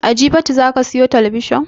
A jifatu zaka siyo talabijin?